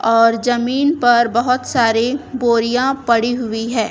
और जमीन पर बहोत सारे बोरियां पड़ी हुई है।